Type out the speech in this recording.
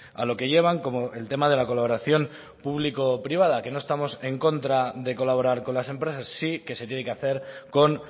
a lo que llevan como el tema de la colaboración público privada que no estamos en contra de colaborar con las empresas sí que se tiene que hacer con